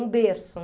Um berço.